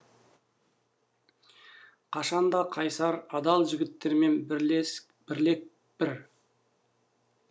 қашанда қайсар адал жігіттермен білек бір